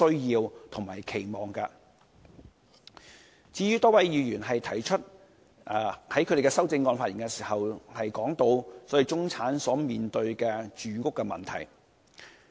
有多位議員提出了修正案，並在發言時談到中產所面對的住屋問題。